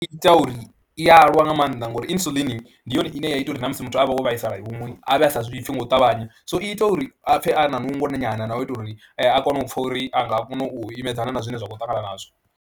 I ita uri, i a lwa nga maanḓa ngori Insulin ndi yone ine ya ita uri na musi muthu a vha wo vhaisala huṅwe a vhe a sa zwi pfhi nga u ṱavhanya, so i ita uri a pfhe a na nungo nyana na u itela uri a kone u pfha uri a nga kona u imedzana na zwine a khou ṱangana nazwo.